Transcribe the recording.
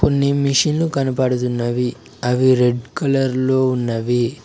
నీ మిషను కనపడుతున్నవి అవి రెడ్ కలర్ లో ఉన్నవి.